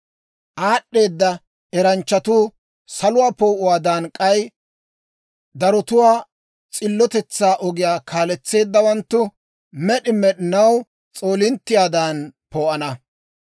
Aad'd'eedda eranchchatuu, saluwaa poo'uwaadan, k'ay darotuwaa s'illotetsaa ogiyaa kaaletseeddawanttu med'i med'inaw s'oolinttiyaadan poo'ana.